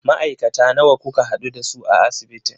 Ma'aikata nawa kuka haɗu da su a asibitin?